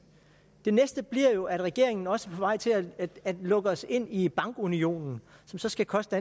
det næste bliver jo at regeringen også vej til at lukke os ind i bankunionen som så skal koste